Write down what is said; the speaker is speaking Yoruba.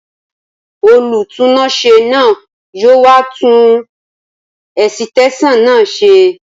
Olùtúnáṣé náà yóò wá tun ẹ̀sìtẹ́sàn náà ṣe